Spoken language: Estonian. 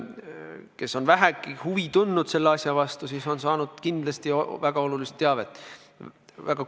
Kes on vähegi selle asja vastu huvi tundnud, on saanud kindlasti väga olulist teavet.